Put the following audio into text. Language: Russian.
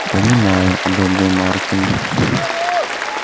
понимаю одобрил маркин